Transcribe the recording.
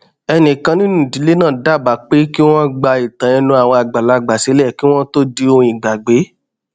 ẹnìkan nínú ìdílé náà dábàá pé kí wón gba ìtàn ẹnu àwọn àgbàlagbà sílè kí wón tó di ohun ìgbàgbé